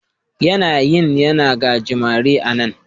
Yanayin yana gajimare a' nan.